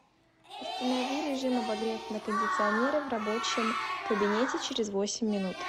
установи режим обогрев на кондиционере в рабочем кабинете через восемь минут